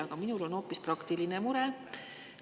Aga minul on hoopis praktiline mure.